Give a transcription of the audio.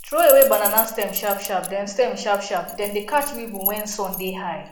throw away banana stem sharpsharp dem stem sharpsharp dem dey catch evils when sun dey high